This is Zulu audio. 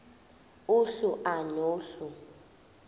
uhlu a nohlu